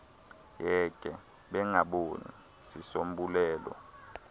yeke bengaboni sisombululo